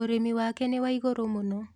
ũrĩmi wake nĩ wa igũrũ mũno.